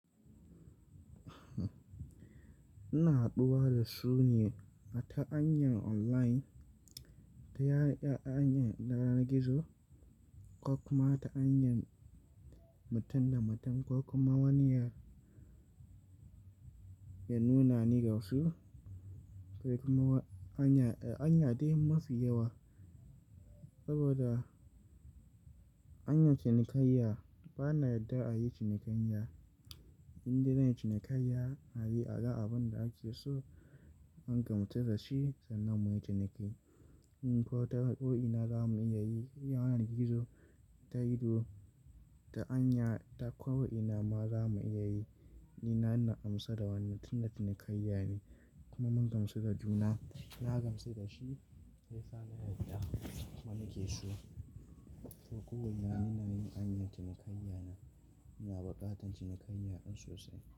Ina haɗuwa da su ne ta hanyar online, ta hanyar yanar gizo ko kuma ta hanyar mutum da mutum ko kuma wani ya nuna ni dasu. Sai kuma hanya, hanya dai mafi yawa saboda hanyar cinikayya bana yadda a yi cinikayya. In za'ayi cinikayya ayi aga abin da ake so an gamsu da zashi sannan mu yi ciniki. Ko ta ko'ina za mu iya yi yanar gizo ta ido, ta hanya ta ko'ina ma za mu iya yi. Ni na amsa da wani ta cinikayya ne kuma mun gamsu da juna, ya gamsu da shima ya gamsu dani haka muke so. To kowane hanya ana cinikayya na, muna buƙatan cinikayya sosai.